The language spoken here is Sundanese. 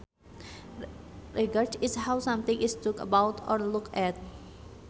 Regard is how something is though about or looked at